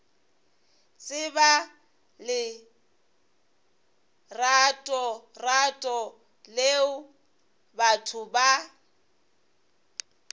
tseba leratorato leo batho ba